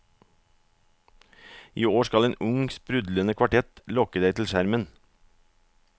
I år skal en ung, sprudlende kvartett lokke deg til skjermen.